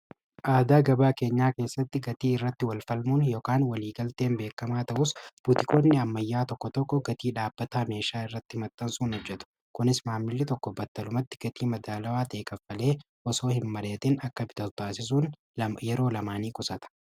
Aadaa gabaa keenyaa keessatti gatii irratti walfalmuun ykan waliigalteen beekamaa ta'uus butikonni ammayyaa tokko tokko gatii dhaabbata ameeshaa irratti hmaxxansuun ojjetu kunis maamilli tokko battalumatti gatii madaalawaa ta'e kaffalee osoo hin madheetin akka bitatu taasisuun yeroo namaa nii qusata.